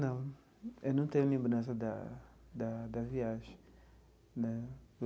Não, eu não tenho lembrança da da da viagem né.